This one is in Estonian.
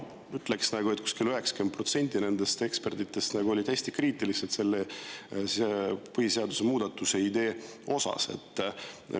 Kuskil 90% nendest ekspertidest olid hästi kriitilised selle põhiseaduse muudatuse idee suhtes.